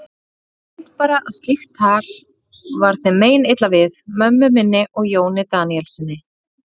Ég veit bara að slíkt tal var þeim meinilla við, mömmu minni og Jóni Daníelssyni.